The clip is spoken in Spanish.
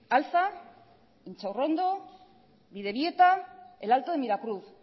alza intxaurrondo bidebieta el alto de miracruz